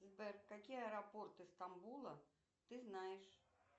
сбер какие аэропорты стамбула ты знаешь